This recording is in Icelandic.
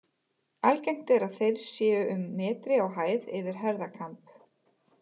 Algengt er að þeir séu um metri á hæð yfir herðakamb.